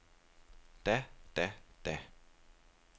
da da da